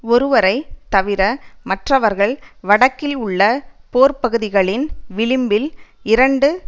ஒருவரை தவிர மற்றவர்கள் வடக்கில் உள்ள போர்ப்பகுதிகளின் விளிம்பில் இரண்டு